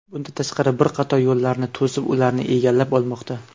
Bundan tashqari, bir qator yo‘llarni to‘sib, ularni egallab olmoqda.